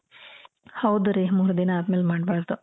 ಹೌದು ರೀ ಮೂರ್ ದಿನ ಅದ್ಮೇಲೆ ಮಾಡ್ಬಾರ್ದು